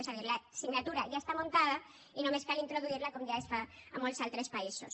és a dir l’assignatura ja està muntada i només cal introduir la com ja es fa a molts altres països